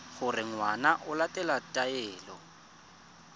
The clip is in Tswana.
gore ngwana o latela taelo